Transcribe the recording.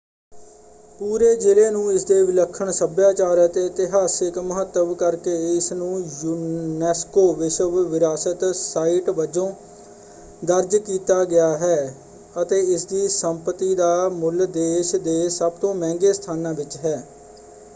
ਪੂਰੇ ਜਿਲ੍ਹੇ ਨੂੰ ਇਸਦੇ ਵਿਲੱਖਣ ਸੱਭਿਆਚਾਰ ਅਤੇ ਇਤਿਹਾਸਕ ਮਹੱਤਵ ਕਰਕੇ ਇਸਨੂੰ ਯੂਨੈਸਕੋ ਵਿਸ਼ਵ ਵਿਰਾਸਤ ਸਾਈਟ ਵਜੋਂ ਦਰਜ ਕੀਤਾ ਗਿਆ ਹੈ ਅਤੇ ਇਸਦੀ ਸੰਪਤੀ ਦਾ ਮੁੱਲ ਦੇਸ਼ ਦੇ ਸਭ ਤੋਂ ਮਹਿੰਗੇ ਸਥਾਨਾਂ ਵਿੱਚ ਹੈ।